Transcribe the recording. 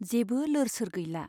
जेबो लोर सोर गैला।